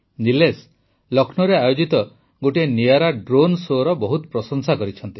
ନିଲେଶ ଲକ୍ଷ୍ମୌରେ ଆୟୋଜିତ ଗୋଟିଏ ନିଆରା ଡ୍ରୋନ୍ ଶୋ ର ବହୁତ ପ୍ରଶଂସା କରିଛନ୍ତି